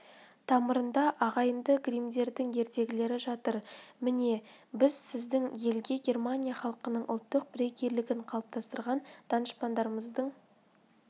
тамырында ағайынды гриммдердің ертегілері жатыр міне біз сіздің елге германия халқының ұлттық бірегейлігін қалыптастырған данышпандарымыздың